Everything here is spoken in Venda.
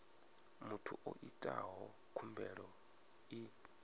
muthu o itaho khumbelo i